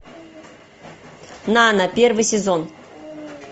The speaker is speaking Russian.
нано первый сезон